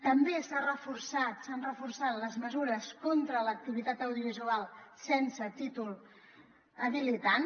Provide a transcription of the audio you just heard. també s’han reforçat les mesures contra l’activitat audiovisual sense títol habilitant